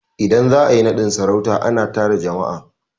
Idan za a yi naɗin sarauta, a na tara jama'a